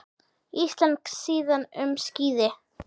Íslensk síða um skíði